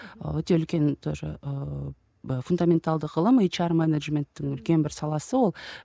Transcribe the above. ы өте үлкен тоже ыыы фундаменталды ғылым ейч ар менеджменттің үлкен бір саласы ол